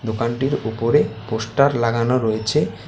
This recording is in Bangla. দোকানটির ওপরে পোস্টার লাগানো রয়েছে।